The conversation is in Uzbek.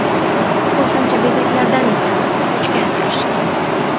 Qo‘shimcha bezaklardan esa qochgan yaxshi.